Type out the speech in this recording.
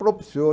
Propiciou.